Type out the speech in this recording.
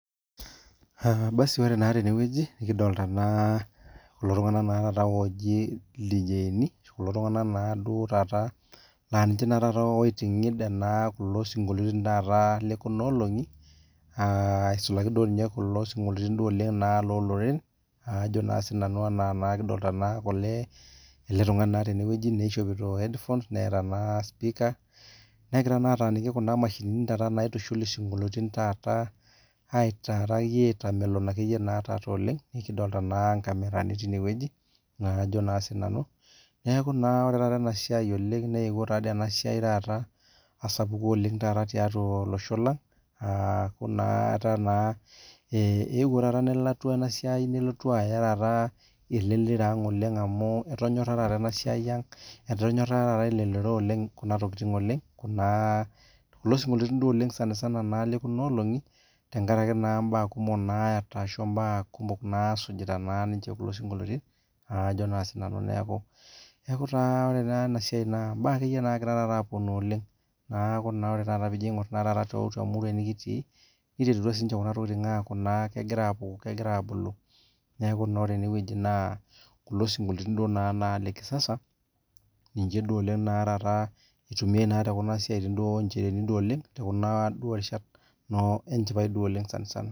Uhh basi ore taa tenewueji nikidolita naa kulo tung'ana naa taata ooji ildijeini kulo tung'ana naaduo taata naa ninche naa tata oiting'id enaa kulo sinkolioitin tataa lekunaolong'i aah aisulaki duo ninye kulo sinkolioitin duo oleng' naa looloreren aajo naa sinanu anaa naa nikidolita naake olee ele tung'ani naa tenewueji neishopito headphones neeta naa spika, negira naataaniki kuna mashinini tata naitushul isinkolioitin taata aitaa taayie aitamelon akeyie naa taata oleng'. Nikidolta naa nkamerani tinewueji naakajo naa sinanu. Neaku naa ore taata enasiai oleng' neepuo taadoi enasiai taata asapuku oleng' tata tiatua olosho lang' aaku naa etaa naa eeh epuo tata nelatu enasiai nelotu aya tataa elelero ang' amu etonyorra tata enasiai ang', etonyorra taata elelero oleng' kuna tokitin oleng', kunaa kulo sinkolioitin duo oleng'  sanasana naa lekunaolong'i tengarake naa mbaa kumok naayata ashu imbaa kumok naasujita naa ninche kulo sinkolioitin aajo naa sinanu neaku, neaku taa ore taa enasiai naa imbaa akeyie naagira tata apuonu oleng'. Neaku naa ore tata piijo ing'orr naa taata tatua muruai nikitii niterutua siinche kuna tokitin aaku naa kegira apuku kegira abulu. Neaku naa ore enewueji naa kulo sinkolioitin duo naa naa le kisasa ninche duo oleng' naa tataa eitumiai naa tekuna siatin duo onchereeni duo oleng' te kuna duo rishat noo enchipai duo oleng' sanasana.